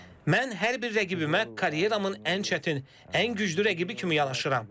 Mən hər bir rəqibimə karyeramın ən çətin, ən güclü rəqibi kimi yanaşıram.